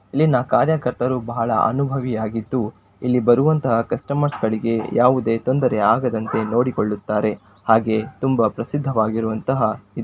ಇಲ್ಲಿನ ಕಾರ್ಯಕರ್ತರು ಬಹಳ ಅನುಭವಿಯಾಗಿದ್ದು ಇಲ್ಲಿ ಬರುವಂತ ಕಸ್ಟಮರ್ಸ್ ಗಳಿಗೆ ಯಾವುದೇ ತೊಂದರೆ ಆಗದಂತೆ ನೋಡಿಕೊಳ್ಳುತ್ತಾರೆ ಹಾಗೆ ತುಂಬಾ ಪ್ರಸಿದ್ಧ ವಾಗಿರುವಂತಹ --